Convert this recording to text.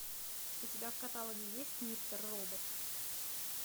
у тебя в каталоге есть мистер робот